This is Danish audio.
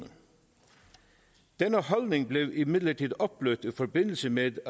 denne holdning blev imidlertid opblødt i forbindelse med